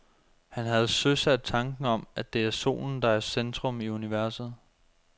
Han havde søsat tanken om, at det er solen, der er i centrum af universet.